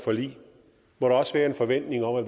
forlig må der også være en forventning om at